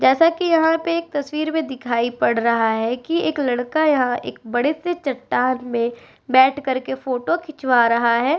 जैसा कि यहां पे एक तस्वीर में दिखाई पड़ रहा है कि एक लड़का यहाँ एक बड़े से चट्टान में बैठ करके फोटो खिंचवा रहा है।